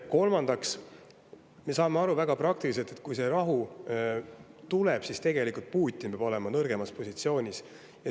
Kolmandaks, me saame väga praktiliselt võttes aru, et kui see rahu tuleb, siis peab Putin olema nõrgemas positsioonis.